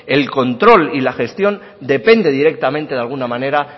el control y la gestión dependen directamente de alguna manera